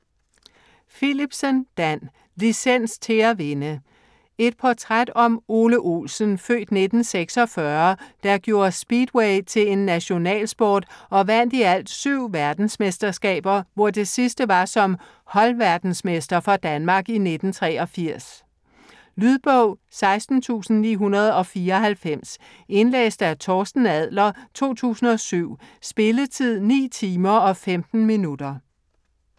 Philipsen, Dan: Licens til at vinde Et portræt om Ole Olsen (f. 1946), der gjorde speedway til en nationalsport og vandt i alt 7 verdensmesterskaber, hvor det sidste var som holdverdensmester for Danmark i 1983. Lydbog 16994 Indlæst af Torsten Adler, 2007. Spilletid: 9 timer, 15 minutter.